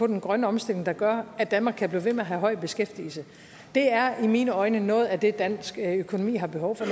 den grønne omstilling der gør at danmark kan blive ved med at have høj beskæftigelse det er i mine øjne noget af det dansk økonomi har behov for